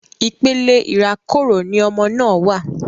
Ipele irakoro ni ọmọ náà wa